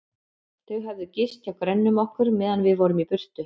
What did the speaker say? Þau höfðu gist hjá grönnum okkar, meðan við vorum í burtu.